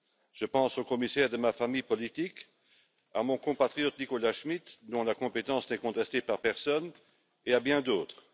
Je pense au commissaire de ma famille politique, mon compatriote Nicolas Schmit dont la compétence n'est contestée par personne, et à bien d'autres.